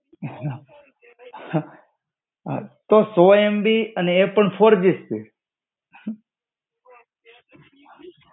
તો સો MB એ પણ ફૉર જી સ્પીડ